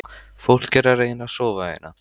Fólk er að reyna að sofa hérna